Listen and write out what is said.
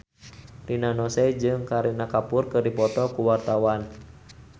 Rina Nose jeung Kareena Kapoor keur dipoto ku wartawan